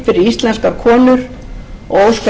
íslenskar konur og óska ég þeim og